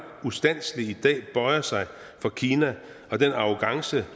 ustandselig i dag bøjer sig for kina og den arrogance